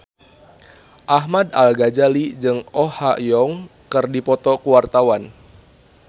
Ahmad Al-Ghazali jeung Oh Ha Young keur dipoto ku wartawan